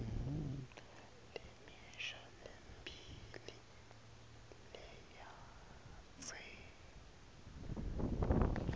lemisho lemibili lelandzelako